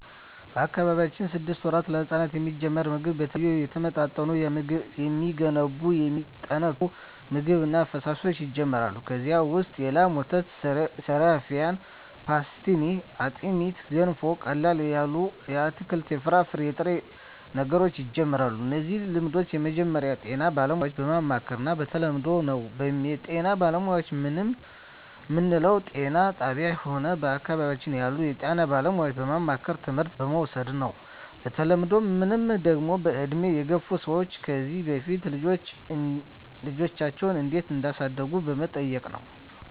በአካባቢያችን ስድስት ወራት ለህጻናት የሚጀምረው ምግብ የተለያዩ የተመጣጠኑ የሚገነቡ የሚያጠናክሩ ምግብ እና ፈሣሾች ይጀመራሉ ከዚ ውሰጥ የላም ወተት ሰሪፋን ፓሥትኒ አጥሜት ገንፎ ቀለል ያሉ የአትክልት የፍራፍሬ የጥሬ ነገሮች ይጀምራሉ እነዚህ ልምድ የሚጀምረው ጤና ባለሙያዎች በማማከር እና በተለምዶው ነው በጤና ባለሙያዎች ምንለው ጤና ጣብያ ሆነ በአካባቢያችን ያሉ የጤና ባለሙያዎች በማማከርና ትምህርት በመዉሰድ ነው በተለምዶ ምንለው ደግሞ በእድሜ የገፍ ሰዎች ከዚ በፊት ልጃቸው እንዴት እዳሳደጉ በመጠየቅ ነው